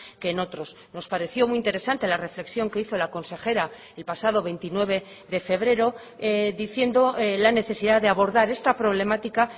que en otros nos pareció muy interesante la reflexión que hizo la consejera el pasado veintinueve de febrero diciendo la necesidad de abordar esta problemática